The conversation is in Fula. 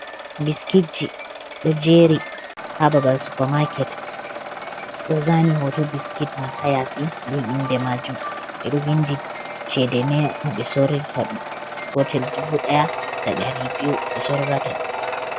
Biskitji, do jeeri ha babal supamaaket do zaani hoto biskit man ha yaasi be inde maajum. ɓe do vindi sheede neira, noɓe sorir ta ɗum gotel dubu ɗaya da ɗaribiwu.